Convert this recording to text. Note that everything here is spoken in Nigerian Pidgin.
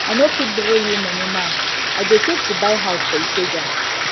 i no fit borrow you money now i dey save to buy house for ikeja